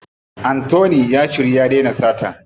Anthony ya shiryu ya dena sata.